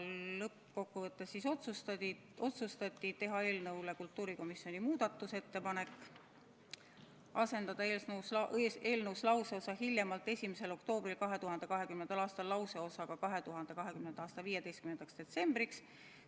Lõppkokkuvõttes otsustati esitada eelnõu kohta kultuurikomisjoni muudatusettepanek: asendada eelnõus lauseosa "hiljemalt 1. oktoobril 2020. aastal" lauseosaga "2020. aasta 15. detsembriks".